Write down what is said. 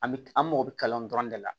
An bɛ an mago bɛ kalan nin dɔrɔn de la